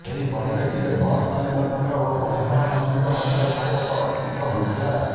ଏହି ପରିପ୍ରେକ୍ଷୀରେ ବସ୍ ମାଲିକ ସଂଘ ଓ ପରିବହନ ମନ୍ତ୍ରୀଙ୍କ ମଧ୍ୟରେ ବୈଠକ ଅନୁଷ୍ଠିତ ହୋଇଥିଲା